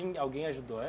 alguém ajudou